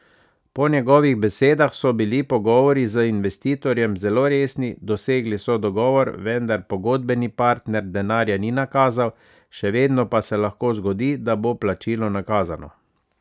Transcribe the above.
Po njegovih besedah so bili pogovori z investitorjem zelo resni, dosegli so dogovor, vendar pogodbeni partner denarja ni nakazal, še vedno pa se lahko zgodi, da bo plačilo nakazano.